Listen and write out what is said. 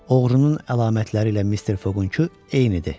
Oğrunun əlamətləri ilə Mister Foqunku eynidir.